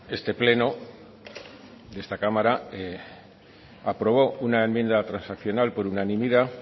este pleno de esta cámara aprobó una enmienda transaccional por unanimidad